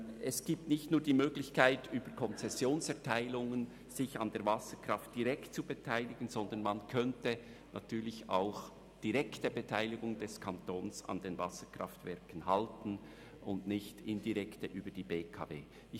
Es gibt nicht nur die Möglichkeit, sich über Konzessionserteilungen an der Wasserkraft direkt zu beteiligen, sondern man könnte auch eine direkte Beteiligung des Kantons an den Wasserkraftwerken statt einer indirekten über die BKW halten.